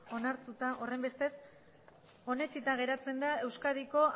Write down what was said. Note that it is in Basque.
onetsita geratzen da euskadiko